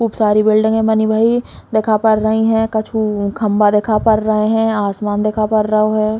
खूब सारी बिल्डिंग बनी भई दिखा पर रही है कछु खम्बा दिखा पर रहे है आसमान दिखा पर रहो है।